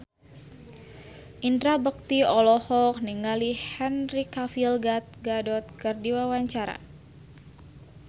Indra Bekti olohok ningali Henry Cavill Gal Gadot keur diwawancara